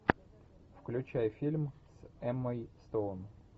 включай фильм с эммой стоун